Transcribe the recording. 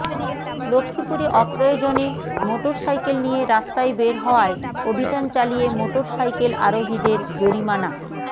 লক্ষ্মীপুরে অপ্রয়োজনে মোটরসাইকেল নিয়ে রাস্তায় বের হওয়ায় অভিযান চালিয়ে মোটরসাইকেল আরোহীদের জরিমানা